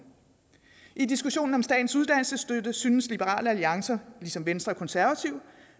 i diskussionen om statens uddannelsesstøtte synes liberal alliance ligesom venstre og konservative